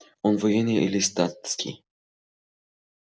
он военный или статский